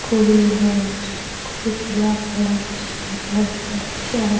cool है school पीला colour आसमानी कलर से कलर किया --